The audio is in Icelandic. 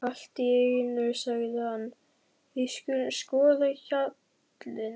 Allt í einu sagði hann: Við skulum skoða hjallinn.